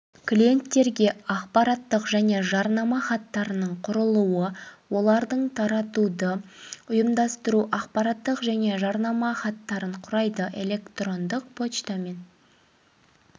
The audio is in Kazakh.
клиенттерге ақпараттық және жарнама хаттарының құрылуы олардың таратуды ұйымдастыру ақпараттық және жарнама хаттарын құрайды электрондық поштамен